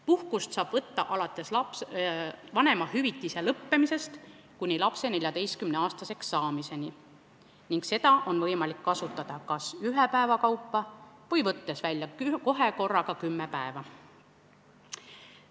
Puhkust saab võtta alates vanemahüvitise lõppemisest kuni lapse 14-aastaseks saamiseni ning seda on võimalik kasutada kas ühe päeva kaupa või võttes välja korraga kümme päeva.